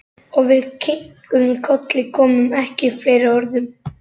Og við kinkuðum kolli, komum ekki upp fleiri orðum.